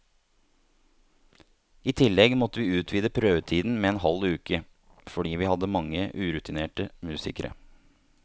I tillegg måtte vi utvide prøvetiden med en halv uke, fordi vi hadde mange urutinerte musikere.